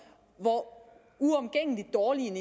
hvor uomgængelig dårlig en